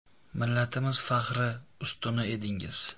Millatimiz faxri, ustuni edingiz.